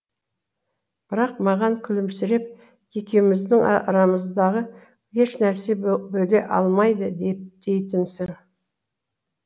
бірақ маған күлімсіреп екеуміздің арамыздағы ешнәрсе бөле алмайды дейтінсің